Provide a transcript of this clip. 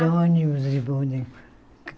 De ônibus, e de bonde.